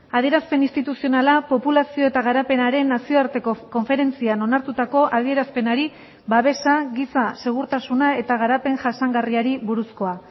adierazpen instituzionala populazio eta garapenaren nazioarteko konferentzian onartutako adierazpenari babesa giza segurtasuna eta garapen jasangarriari buruzkoa